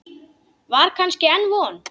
Var kannski enn von?